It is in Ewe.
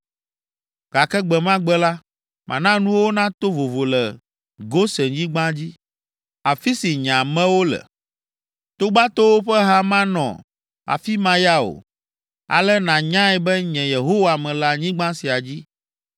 “ ‘Gake gbe ma gbe la, mana nuwo nato vovo le Gosenyigba dzi, afi si nye amewo le. Togbatowo ƒe ha manɔ afi ma ya o. Ale nànyae be nye Yehowa mele anyigba sia dzi,